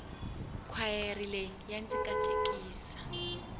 khwayere leyi ya ndzi katekisa